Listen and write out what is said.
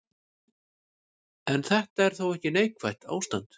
En þetta er þó ekki neikvætt ástand.